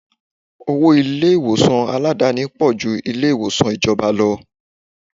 Owó ilé ìwòsàn Aládàáni pò ju ilé ìwòsàn ìjọba lọ.